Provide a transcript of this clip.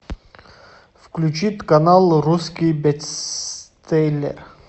включи канал русский бестселлер